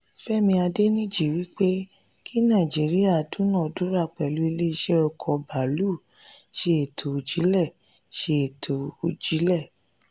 femi adeniji wípé kí naijiriya duna-dura pẹ̀lú ilé ìṣe oko baalu ṣe ètò òjìlé. ṣe ètò òjìlé.